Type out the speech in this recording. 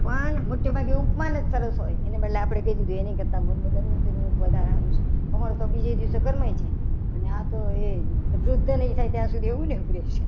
પણ મોટે ભાગે ઉપમાન જ સરસ હોય છે. એને બદલે આપણે દમયંતી નું મુખ હારું છે. કમળ તો બીજા દિવસે કરમાઈ જાય. આ તો એ વૃદ્ધ નહીં થાય ત્યાં સુધી એવું ને એવું રહેશે.